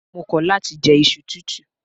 Mo kọ̀ láti je iṣu tútù.